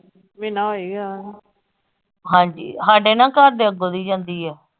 ਮਹੀਨਾ ਹੋ ਈ ਗਿਆ ਆ, ਹਾਂਜੀ ਹਾਡੇ ਨਾ ਘਰ ਦੇ ਅੱਗੋਂ ਦੀ ਜਾਂਦੀ ਆ।